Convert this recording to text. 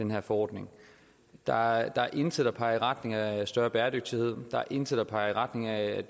her forordning der er intet der peger i retning af større bæredygtighed der er intet der peger i retning af